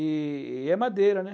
E e é madeira, né?